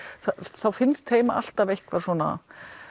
þá finnst þeim alltaf eitthvað svona